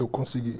Eu consegui.